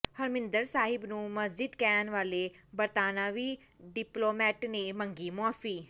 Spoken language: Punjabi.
ਹਰਿਮੰਦਰ ਸਾਹਿਬ ਨੂੰ ਮਸਜਿਦ ਕਹਿਣ ਵਾਲੇ ਬਰਤਾਨਵੀ ਡਿਪਲੋਮੈਟ ਨੇ ਮੰਗੀ ਮੁਆਫ਼ੀ